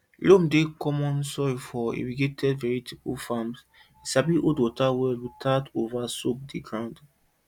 loam dey common soil for irrigated vegetable farms e sabi hold water well without over soak di ground